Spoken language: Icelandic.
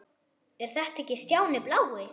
Er þetta ekki Stjáni blái?!